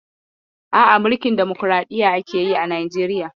No, Nigeria practices democracy.